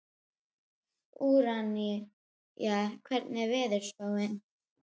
Úranía, hvernig er veðurspáin?